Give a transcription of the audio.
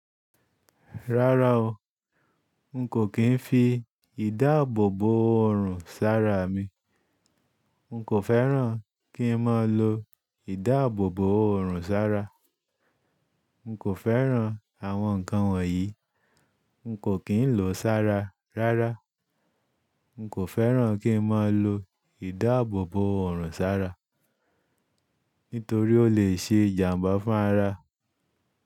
Rárá o, n kò kín fi ìdáàbòbò ọ̀run sára mi. N kò fẹ́ràn kí n máa lo ìdáàbòbò ọ̀run sára. N kò fẹ́ràn àwọn ǹkan wọ̀nyí. N kò kín lòó sára rárá. N kò fẹ́ràn kí n máa lo ìdáàbòbò ọ̀run sára, nítorí ó lè ṣe ìjàmbá fún ara.